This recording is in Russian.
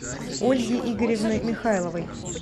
ольги игоревны михайловой